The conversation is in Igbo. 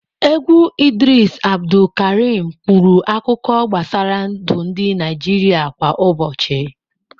Egwu Idris Abdulkarim kwuru akụkọ gbasara ndụ ndị Naịjirịa kwa ụbọchị.